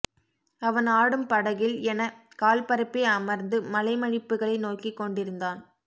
அவன் ஆடும் படகில் என கால்பரப்பி அமர்ந்து மலைமடிப்புகளை நோக்கிக்கொண்டிருந்தான்